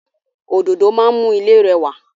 Òdòdó máa n mú ilé rẹwà